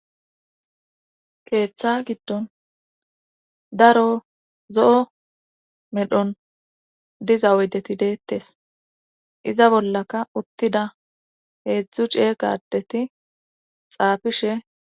keeththa giddon daro zo7o medhon diza oydeti deettes iza bollaka uttida heedzdzu ciye kadeti xaafishe